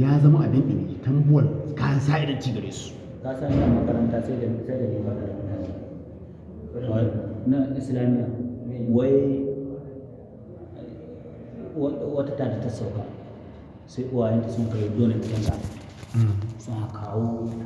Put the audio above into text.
ya zama abin iini, tambuwal, ka sa idon ci gare su. Ka sani a ci garesu makaranta sai da, sai da ni makaranta na yi. Na Islamiyya? Wai, wata ta da ta sauka, sai uwayenta sun kai donin canza. Sun ka kawo.